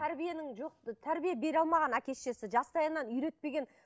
тәрбиенің жоқ тәрбие бере алмаған әке шешесі жастайынан үйретпеген